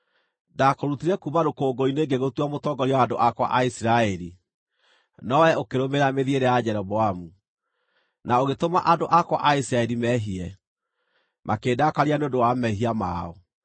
“Ndakũrutire kuuma rũkũngũ-inĩ ngĩgũtua mũtongoria wa andũ akwa a Isiraeli, no wee ũkĩrũmĩrĩra mĩthiĩre ya Jeroboamu, na ũgĩtũma andũ akwa a Isiraeli meehie, makĩndakaria nĩ ũndũ wa mehia mao.